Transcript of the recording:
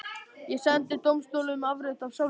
Ég sendi dómstólunum afrit af sál minni.